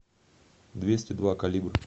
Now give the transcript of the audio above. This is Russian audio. двести два калибр